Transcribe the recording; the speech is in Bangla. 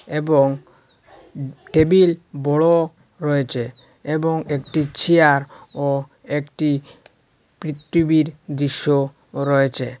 এবং টেবিল বড় রয়েছে এবং একটি চেয়ার ও একটি পৃথিবীর দৃশ্য রয়েছে।